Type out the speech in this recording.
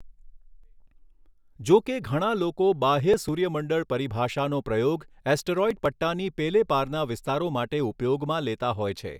જો કે ઘણા લોકો બાહ્ય સૂર્યમંડળ પરિભાષાનો પ્રયોગ એસ્ટરોઈડ પટ્ટાની પેલે પારના વિસ્તારો માટે ઉપયોગમાં લેતા હોય છે.